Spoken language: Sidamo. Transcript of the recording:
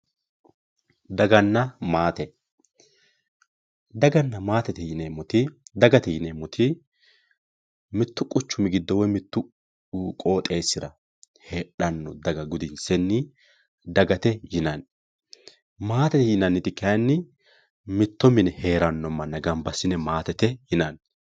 daganna maate dagate yineemmoti mittu quchumi giddo woy qooxeessira heedhanno daga gudinsenni dagate yinanni maatete yinanniti kayni mitto mine heeranno manna gamba assine maatete yinanni